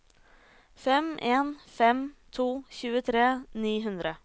fem en fem to tjuetre ni hundre